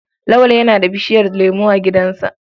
Lawal yana da bishiyar lemo a gidansa.